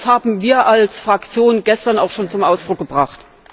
Das haben wir als Fraktion gestern auch schon zum Ausdruck gebracht.